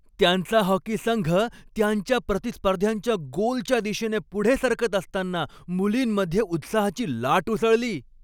त्यांचा हॉकी संघ त्यांच्या प्रतिस्पर्ध्यांच्या गोलच्या दिशेने पुढे सरकत असताना मुलींमध्ये उत्साहाची लाट उसळली.